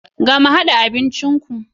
Gama hada abincin ku.